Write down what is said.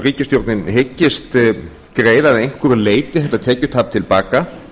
ríkisstjórnin hyggist greiða að einhverju leyti þetta tekjutap til baka